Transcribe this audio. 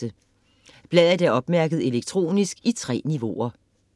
Bladet er opmærket elektronisk i 3 niveauer.